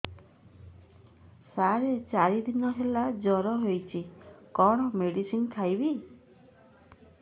ସାର ଚାରି ଦିନ ହେଲା ଜ୍ଵର ହେଇଚି କଣ ମେଡିସିନ ଖାଇବି